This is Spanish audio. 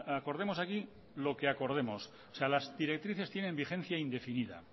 acordemos aquí lo que acordemos o sea las directrices tienen vigencia indefinida